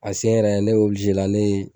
A sen yɛrɛ ne obilizela ne